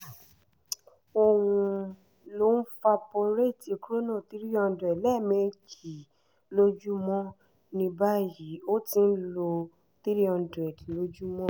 ò ń ń lo valporate chrono 300 lẹ́ẹ̀mejì lójúmọ́ ní báyìí o ti ń lo 300 lójúmọ́